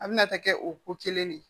A bɛna taa kɛ o ko kelen de ye